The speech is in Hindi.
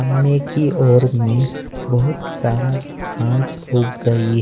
अम्मे की ओर में बहुत सारा घास उग गयी--